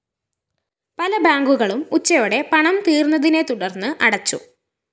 പല ബാങ്കുകളും ഉച്ചയോടെ പണം തീര്‍ന്നതിനെ തുടര്‍ന്ന് അടച്ചു